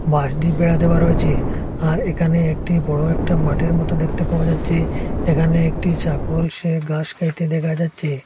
বাঁশ দিয়ে বেড়া দেওয়া রয়েছে আর এখানে একটি বড়ো একটা মাঠের মত দেখতে পাওয়া যাচ্ছে এখানে একটি চাগল সে ঘাস খাইতে দেখা যাচ্ছে।